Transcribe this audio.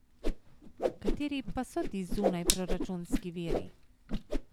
Kateri pa so ti zunajproračunski viri?